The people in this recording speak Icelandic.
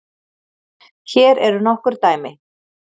Hér eru nokkur dæmi: